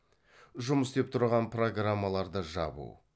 жұмыс істеп тұрған программаларды жабу